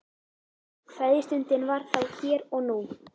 Kveðjustundin var þá hér og nú.